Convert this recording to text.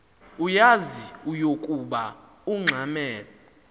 uyaz ukoba ungxamel